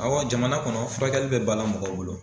Awɔ jamana kɔnɔ furakɛli bɛ dala mɔgɔw bolo.